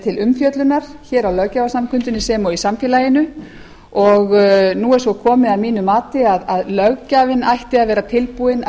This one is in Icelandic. til umfjöllunar hér á löggjafarsamkundunni sem og í samfélaginu og nú er svo komið að mínu mati að löggjafinn ætti að vera tilbúinn að